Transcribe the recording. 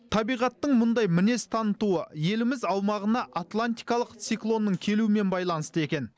табиғаттың мұндай мінез танытуы еліміз аумағына атлантикалық циклоннның келуімен байланысты екен